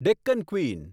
Deccan queen